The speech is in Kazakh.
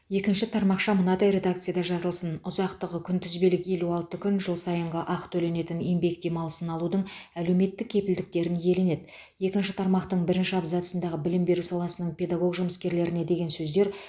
екінші тармақша мынадай редакцияда жазылсын ұзақтығы күнтізбелік елу алты күн жыл сайынғы ақы төленетін еңбек демалысын алудың әлеуметтік кепілдіктерін иеленеді екінші тармақтың бірінші абзацындағы білім беру саласының педагог жұмыскерлеріне деген сөздер